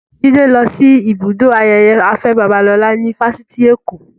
Jide lọ sí ibùdó ayẹyẹ Afe Babalola ní Fáṣitì Èkó